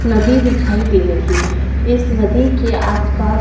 नदी दिखाई दे रही है इस नदी के आसपास--